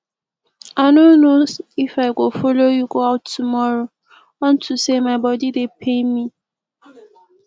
i no know if i go follow you go out tomorrow unto say my body dey pain me